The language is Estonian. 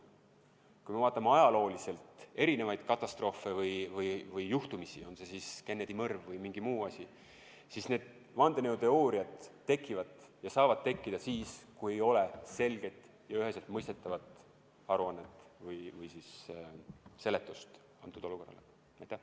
Kui me vaatame ajaloo jooksul juhtunud erinevaid katastroofe ja muid sündmusi, on see siis Kennedy mõrv või mingi muu asi, siis näeme, et vandenõuteooriad tekivad siis, kui ei ole selget ja üheselt mõistetavat aruannet või seletust juhtunule antud.